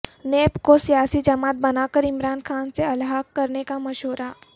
NAB کو سیاسی جماعت بنا کر عمران خان سے الحاق کرنے کا مشورہ